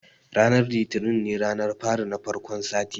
Ranar litini ne ranar fari na farkon sati